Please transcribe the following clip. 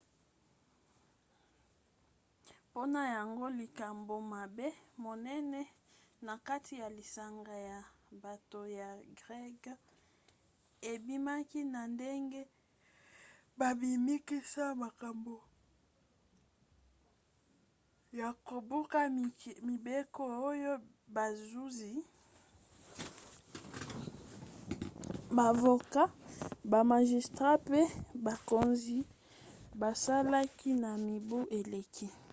mpona yango likambo mabe monene na kati ya lisanga ya bato ya greke ebimaki na ndenge babimisaki makambo ya kobuka mibeko oyo bazuzi bavoka bamagistrat mpe bakonzi basalaki na mibu eleki